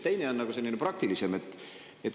Teine on selline praktilisem.